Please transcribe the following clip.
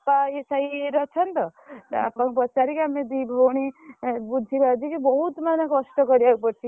ESI ଇଏ ରେ ଅଛନ୍ତି ତ ତା ବାପାଙ୍କୁ ପଚାରିକି ଆମେ ଦି ଭଉଣି ବୁଝିବାଝି କି ବହୁତ ମାନେ କଷ୍ଟ କରିଆକୁ ପଡିଛି।